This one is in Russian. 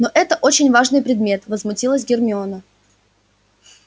но это очень важный предмет возмутилась гермиона